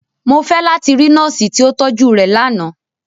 Mo fẹ lati ri Nọọsi ti o tọju rẹ làná!